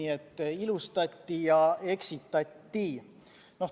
Nii et ilustati ja eksitati.